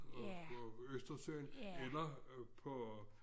Og gå Østersøen eller øh på